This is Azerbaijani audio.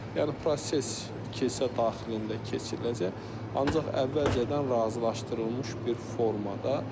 Yəni proses kilsə daxilində keçiriləcək, ancaq əvvəlcədən razılaşdırılmış bir formada.